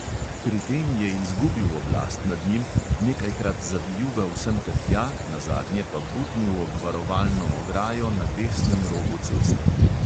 Pri tem je izgubil oblast nad njim, nekajkrat zavijugal semtertja, nazadnje pa butnil ob varovalno ograjo na desnem robu ceste.